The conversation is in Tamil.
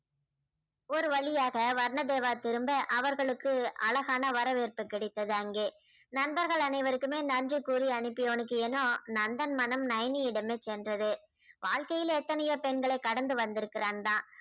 ஒரு வழியாக வர்ணதேவா திரும்ப அவர்களுக்கு அழகான வரவேற்பு கிடைத்தது அங்கே. நண்பர்கள் அனைவருக்குமே நன்றி கூறி அனுப்பியவனுக்கு ஏனோ நந்தன் மனம் நயனியிடமே சென்றது வாழ்க்கையில் எத்தனையோ பெண்களை கடந்து வந்திருக்கிறான் தான்